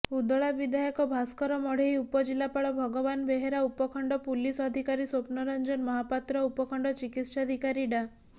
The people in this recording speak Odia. ଉଦଳା ବିଧାୟକ ଭାସ୍କର ମଢେଇ ଉପଜିଲ୍ଲାପାଳ ଭଗବାନ ବେହେରା ଉପଖଣ୍ଡ ପୁଲିସ ଅଧିକାରୀ ସ୍ୱପ୍ନରଞ୍ଜନ ମହାପାତ୍ର ଉପଖଣ୍ଡ ଚିକିତ୍ସାଧିକାରୀ ଡା